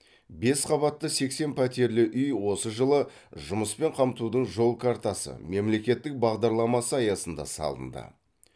бес қабатты сексен пәтерлі үй осы жылы жұмыспен қамтудың жол картасы мемлекеттік бағдарламасы аясында салынды